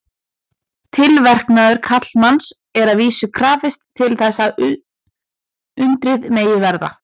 Tilverknaðar karlmanns er að vísu krafist til þess að undrið megi verða.